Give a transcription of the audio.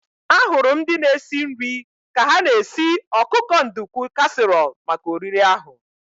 Ahụrụ m ndị na-esi nri ka ha na-esi ọkụkọ nduku kasiirọl maka oriri ahu